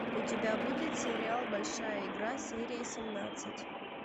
у тебя будет сериал большая игра серия семнадцать